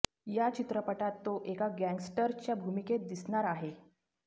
या चित्रपटात तो एका गँगस्टरच्या भूमिकेत दिसणार आहे